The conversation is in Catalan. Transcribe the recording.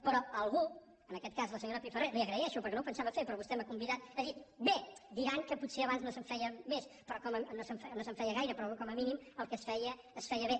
però algú en aquest cas la senyora pifarré li ho agraeixo perquè no ho pensava fer però vostè m’hi ha convidat ha dit bé diran que potser abans no se’n feien més no se’n feia gaire però com a mínim el que es feia es feia bé